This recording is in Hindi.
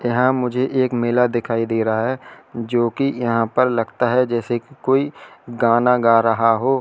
यहां मुझे एक मेला दिखाई दे रहा है जो कि यहां पर लगता है जैसे कि कोई गाना गा रहा हो।